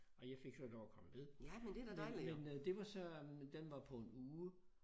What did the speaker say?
Og jeg fik så lov at komme med men men det var så øh den var på en uge